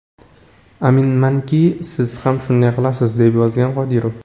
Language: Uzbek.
Aminmanki, siz ham shunday qilasiz”, − deb yozgan Qodirov.